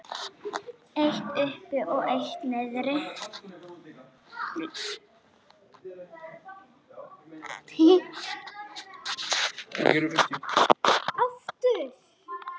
Og elskaði heitt.